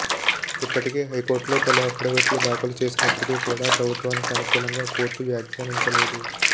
ఇప్పటికే హైకోర్టులో పలు అఫిడవిట్లు దాఖలు చేసినప్పటికి కూడా ప్రభుత్వానికి అనుకూలంగా కోర్టు వ్యాఖ్యానించ లేదు